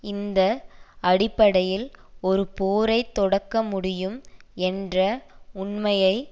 இந்த அடிப்படையில் ஒரு போரை தொடக்க முடியும் என்ற உண்மையை